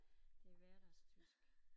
Det hverdagstysk